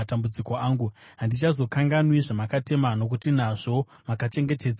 Handichazokanganwi zvamakatema, nokuti nazvo makachengetedza upenyu hwangu.